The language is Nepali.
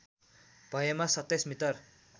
भएमा २७ मिटर